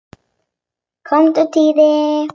Komdu Týri!